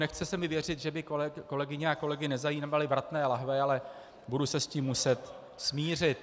Nechce se mi věřit, že by kolegyně a kolegy nezajímaly vratné lahve, ale budu se s tím muset smířit.